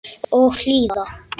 Og hlýða.